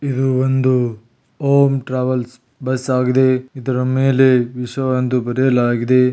ಇದು ಒಂದು home travels bus ಆಗಿದೆ ಇದರ ಮೇಲೆ ವಿಷ ಎಂದು ಬರಿಯಲಾಗಿದೆ.